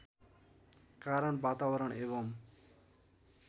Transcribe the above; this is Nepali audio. कारण वातावरण एवं